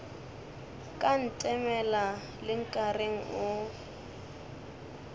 ka ntemela le nkareng o